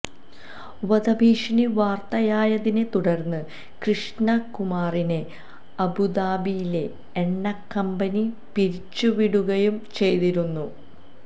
വധഭീഷണി വാർത്തയായതിനെ തുടർന്ന് കൃഷ്ണകുമാറിനെ അബുദാബിയിലെ എണ്ണക്കമ്പനി പിരിച്ചു വിടുകയും ചെയ്തിരുന്നു